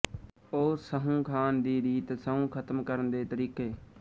ੳ ਸਹੁੰ ਖਾਣ ਦੀ ਰੀਤ ਸਹੁੰ ਖਤਮ ਕਰਨ ਦੇ ਤਰੀਕੇ